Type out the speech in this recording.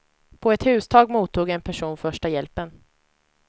På ett hustak mottog en person första hjälpen.